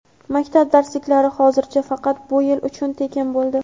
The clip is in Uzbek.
Maktab darsliklari hozircha faqat bu yil uchun tekin bo‘ldi.